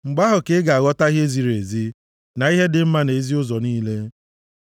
Mgbe ahụ ka ị ga-aghọta ihe ziri ezi na ihe dị mma na ezi ụzọ niile.